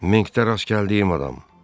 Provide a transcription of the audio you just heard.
Menkdə rast gəldiyim adam.